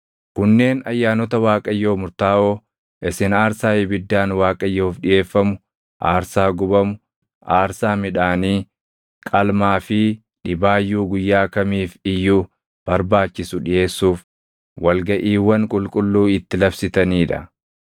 “ ‘Kunneen ayyaanota Waaqayyoo murtaaʼoo isin aarsaa ibiddaan Waaqayyoof dhiʼeeffamu, aarsaa gubamu, aarsaa midhaanii, qalmaa fi dhibaayyuu guyyaa kamiif iyyuu barbaachisu dhiʼeessuuf wal gaʼiiwwan qulqulluu itti labsitanii dha.